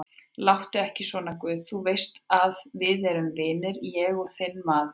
Láttu ekki svona guð, þú veist að við erum vinir, ég er þinn maður.